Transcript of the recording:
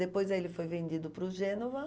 Depois ele foi vendido para o Gênova.